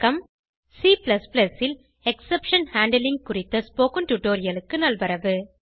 C ல் exception handling குறித்த spoken டுடோரியலுக்கு நல்வரவு